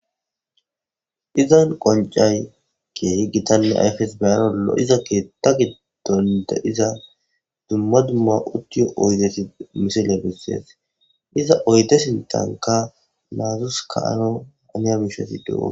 izan qoncay keehi gitanne ayfes beyarollo iza keeta giddonde iza dumma dumma uttiyo oydeti misile bissees iza oyte sintanka naazus ka ano aniya mishosi deo